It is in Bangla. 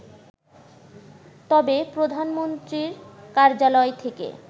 তবে প্রধানমন্ত্রীর কার্যালয় থেকে